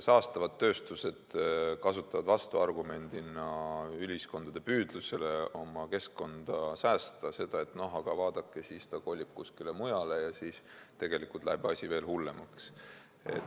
Saastavad tööstused kasutavad vastuargumendina ühiskondade püüdlustele oma keskkonda säästa väidet, et aga vaadake, siis see kolib kuskile mujale ja siis tegelikult läheb asi veel hullemaks.